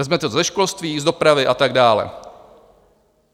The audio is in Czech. Vezmete to ze školství, z dopravy a tak dále.